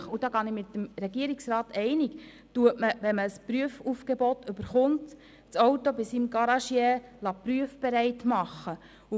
Natürlich – und diesbezüglich bin ich mit dem Regierungsrat einig – lässt man nach Erhalt eines Prüfaufgebots sein Auto bei seinem Garagisten prüfbereit instand setzen.